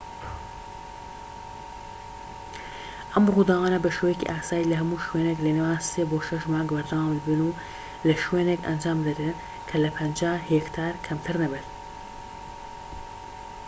ئەم ڕووداوانە بە شێوەیەکی ئاسایی لە هەموو شوێنێک لە نێوان سێ بۆ شەش مانگ بەردەوام دەبن و لە شوێنێک ئەنجام دەدرێن کە لە 50 هێکتار کەمتر نەبێت